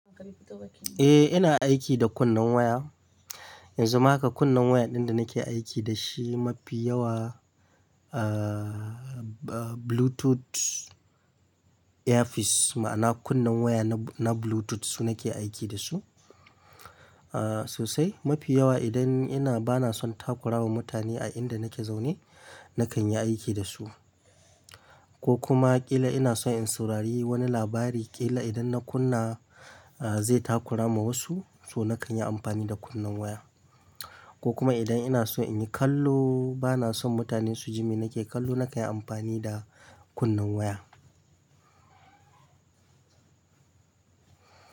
Eh, ina aiki da kunnen waya. Yanzu ma haka kunne waya ɗin da nake aiki da shi mafi yawa, ah, Bluetooth earpiece ma'ana kunnen waya na Bluetooth su nake aiki da su. Ah, sosai mafi yawa idan ina bana son takura wa mutane a inda nake zaune nakan yi aiki da su. Ko kuma ƙila ina son in saurari wani labari ƙila idan na kunna, ah, zai takura ma wasu so nakan yi amfani da kunnen waya. Ko kuma idan ina so in yi kallo bana son mutane su ji mene ke kallo nakan yi amfani da kunnen waya.